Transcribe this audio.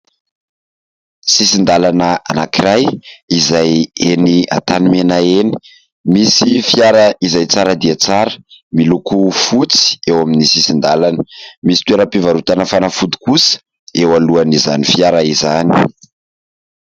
sisin-dalana anak'iray izay eny antanimena eny misy fiara izay tsara dia tsara miloko fotsy eo amin'ny sisin-dalana misy toeram-pivarotana fanafody kosa eo alohan'izany fiara izany